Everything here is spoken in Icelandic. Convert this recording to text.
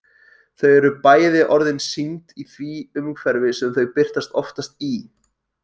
Þar eru bæði orðin sýnd í því umhverfi sem þau birtast oftast í.